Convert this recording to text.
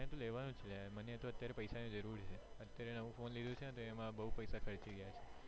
હું તો લેવાનો જ છુ મને અત્યારે પૈસા ની જરૂર છે અત્યારે નવું ફોને લીધું છે તો એમાં બઉ પૈસા ખર્ચી ગયા છે